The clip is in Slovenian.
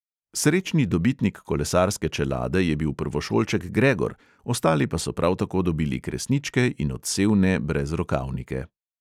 Srečni dobitnik kolesarske čelade je bil prvošolček gregor, ostali pa so prav tako dobili kresničke in odsevne brezrokavnike.